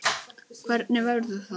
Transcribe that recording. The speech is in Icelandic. Hvernig verður það?